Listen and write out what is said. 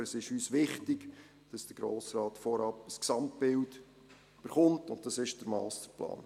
Aber es ist uns wichtig, dass der Grosse Rat vorab ein Gesamtbild erhält, und dies ist der Masterplan.